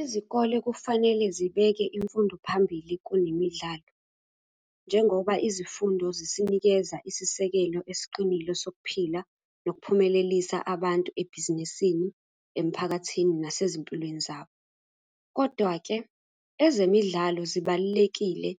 Izikole kufanele zibeke imfundo phambili kunemidlalo, njengoba izifundo zisinikeza isisekelo esiqinile sokuphila, nokuphumelelisa abantu ebhizinisini, emphakathini, nasezimpilweni zabo, kodwa-ke ezemidlalo zibalulekile